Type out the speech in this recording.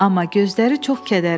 Amma gözləri çox kədərlidir.